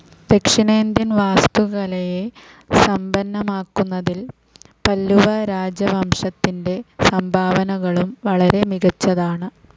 ദക്ഷിണേന്ത്യൻ വാസ്തുകലയെ സമ്പന്നമാക്കുന്നതിൽ പല്ലവരാജവംശത്തിൻ്റെ സംഭാവനകളും വളരെ മികച്ചതാണ്.